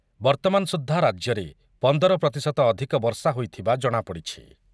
ବର୍ତ୍ତମାନ ସୁଦ୍ଧା ରାଜ୍ୟରେ ପଂଦର ପ୍ରତିଶତ ଅଧିକ ବର୍ଷା ହୋଇଥିବା ଜଣାପଡ଼ିଛି ।